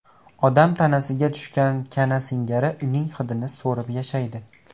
Odam tanasiga tushgan kana singari uning hidini so‘rib yashaydi.